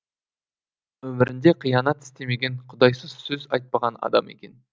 өмірінде қиянат істемеген құдайсыз сөз айтпаған адам екен